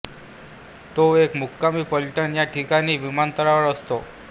तो एक मुक्कामी फलटण या ठिकाणी विमानतळावर असतो